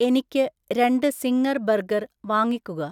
എനിക്ക് രണ്ട് zinger burger വാങ്ങിക്കുക